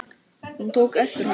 Hún tók eftir honum!